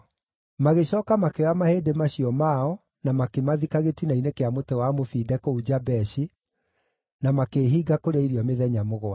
Magĩcooka makĩoya mahĩndĩ macio mao na makĩmathika gĩtina-inĩ kĩa mũtĩ wa mũbinde kũu Jabeshi, na makĩĩhinga kũrĩa irio mĩthenya mũgwanja.